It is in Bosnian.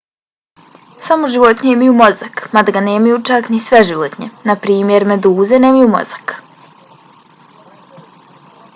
samo životinje imaju mozak mada ga nemaju čak ni sve životinje. naprimjer meduze nemaju mozak